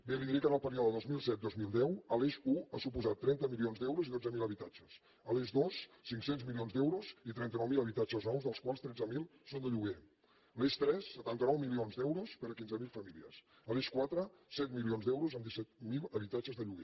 bé li diré que en el període dos mil set dos mil deu l’eix un ha suposat trenta milions d’euros i dotze mil habitatges l’eix dos cinc cents milions d’euros i trenta nou mil habitatges nous dels quals tretze mil són de lloguer l’eix tres setanta nou milions d’euros per a quinze mil famílies l’eix quatre set milions d’euros amb disset mil habitatges de lloguer